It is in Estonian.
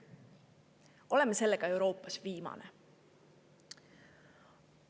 Oleme sellega Euroopas viimasel kohal.